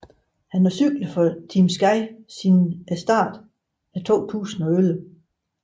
Han har cyklet for Team Sky siden starten af 2011